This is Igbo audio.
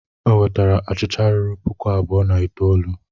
Ọ nwetara achịcha ruru puku abụọ na itoolu.